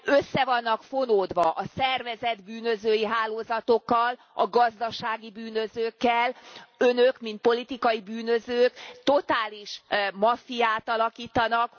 Össze vannak fonódva a szervezett bűnözői hálózatokkal, a gazdasági bűnözőkkel, Önök mint politikai bűnözők totális maffiát alakítanak.